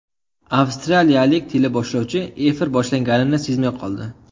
Avstraliyalik teleboshlovchi efir boshlanganini sezmay qoldi.